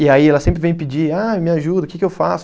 E aí ela sempre vem pedir, eh me ajuda, o que que eu faço?